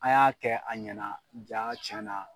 A' y'a kɛ a ɲɛna jaa tiɲɛna